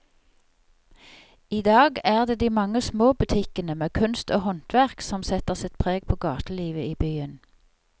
I dag er det de mange små butikkene med kunst og håndverk som setter sitt preg på gatelivet i byen.